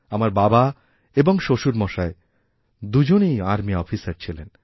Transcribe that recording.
আমার বাবা এবং শ্বশুরমশাইদুজনেই আর্মি অফিসার ছিলেন